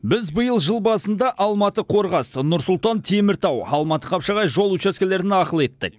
біз биыл жыл басында алматы қорғас нұр сұлтан теміртау алматы қапшағай жол учаскелерін ақылы еттік